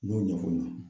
N y'o ɲɛfɔ n ɲe